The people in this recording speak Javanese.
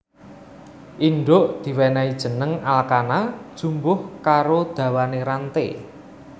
Indhuk diwènèhi jeneng alkana jumbuh karo dawané ranté